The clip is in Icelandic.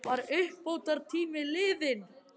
Var uppbótartíminn liðinn?